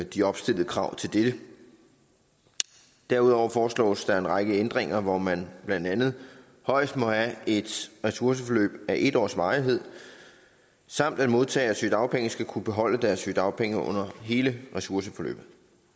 de opstillede krav til dette derudover foreslås der en række ændringer hvor man blandt andet højst må have et ressourceforløb af en års varighed samt at modtagere af sygedagpenge skal kunne beholde deres sygedagpenge under hele ressourceforløbet